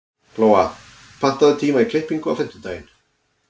Glóa, pantaðu tíma í klippingu á fimmtudaginn.